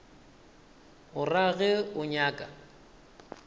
o ra ge o nyaka